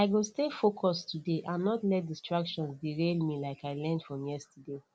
i go stay focused today and not let distractions derail me like i learned from yesterday